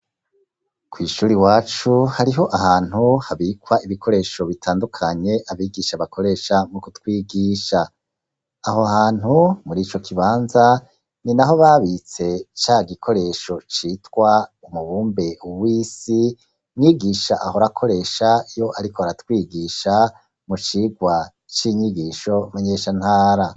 Kwishure iwacu hariho ahantu habikwa ibikoresho bitandukanye abigisha bakoresha mukutwigisha, aho hantu murico kibanza ninaho babitse cagikoresho citwa umubumbe w’isi mwigisha ahora akoresha iyo ariko aratwigisha mucigwa cinyigisho menyesha ntara.